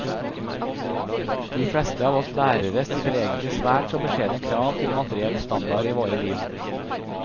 De fleste av oss lærere stiller egentlig svært så beskjedne krav til materiell standard i våre liv.